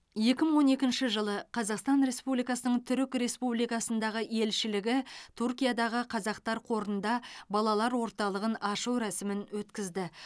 екі мың он екінші жылы қазақстан республикасының түрік республикасындағы елшілігі түркиядағы қазақтар қорында балалар орталығын ашу рәсімін өткізді